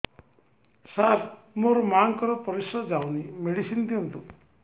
ସାର ମୋର ମାଆଙ୍କର ପରିସ୍ରା ଯାଉନି ମେଡିସିନ ଦିଅନ୍ତୁ